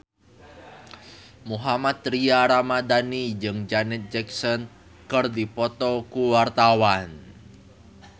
Mohammad Tria Ramadhani jeung Janet Jackson keur dipoto ku wartawan